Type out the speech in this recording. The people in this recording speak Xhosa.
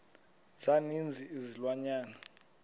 za ninzi izilwanyana